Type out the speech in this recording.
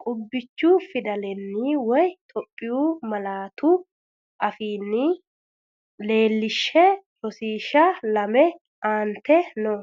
qubbichu fidalenni woy Itophiyu malaatu afiinni leellishshe Rosiishsha Lame Aante noo.